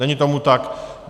Není tomu tak.